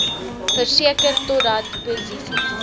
verseker totdat posisies